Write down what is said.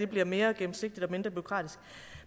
bliver mere gennemsigtigt og mindre bureaukratisk